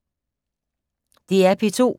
DR P2